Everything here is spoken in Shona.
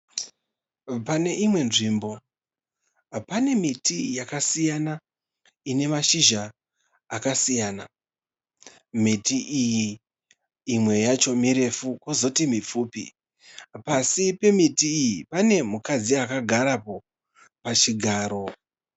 Pane imwe nzvimbo pane miti yakasiyana ine mashizha akasiyana. Miti iyi imwe yacho mirefu kwozoti mipfupi. Pasi pemiti iyi pane mukadzi akagarapo pachigaro.